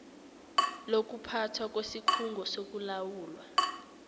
lokuphathwa kwesikhungo sokulawulwa